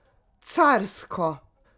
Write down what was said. Carsko!